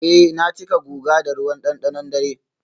eh na cika guga da ruwan dandanon dare.